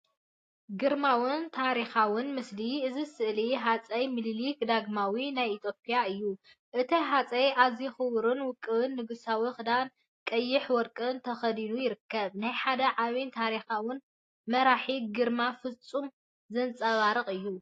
ግርማዊን ታሪኻውን ምስሊ! እዚ ስእሊ ሃጸይ ሚኒሊክ ዳግማዊ ናይ ኢትዮጵያ እዩ። እቲ ሃጸይ ኣዝዩ ክቡርን ውቁብን ንጉሳዊ ክዳን ቀይሕን ወርቅን ተኸዲኑ ይርከብ። ናይ ሓደ ዓቢን ታሪኻውን መራሒ ግርማ ፍጹም ዘንጸባርቕ እዩ።